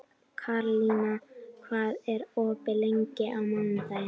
Karlína, hvað er opið lengi á mánudaginn?